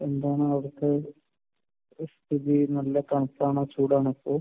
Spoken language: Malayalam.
എന്താണ് അവിടുത്തെ സ്ഥിതി? നല്ല തണുപ്പാണോ ചൂടാണോ ഇപ്പോൾ?